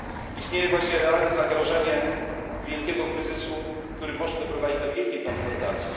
Istnieje właśnie realne zagrożenie wielkiego kryzysu, który może doprowadzić do wielkiej konfrontacji.